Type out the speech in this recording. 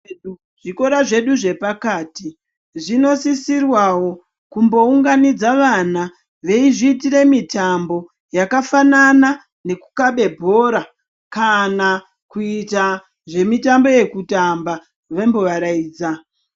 Zvikora zvedu zvepakati zvinosisirwawo kumbounganidza vana veizviitira mitambo yakafanana ngekukabe bhora kana kuita zvemitambo yekutamba veimbovaraidza.